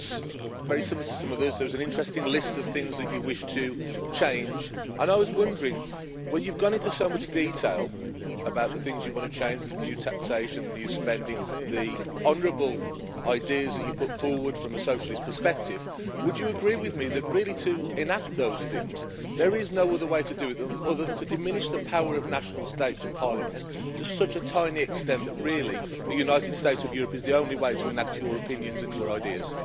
it was very similar to some others there was an interesting list of things that you wish to change. I was wondering, when you've gone into so much detail about the things you want to change the new taxation, the new spending, the honourable ideas that you put forward from a socialist perspective would you agree with me that to enact those things there is no other way to do it other than to diminish the power of national states and parliaments to such an extent that really the United States of Europe is the only way to enact your opinions and your ideas?